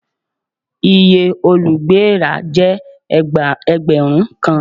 Iye olùgbé èèrà jẹ́ Ẹgbẹ̀rún kan àti ẹgbẹ̀rin ó lé ní àádọ́ta dín ní márùn-ún.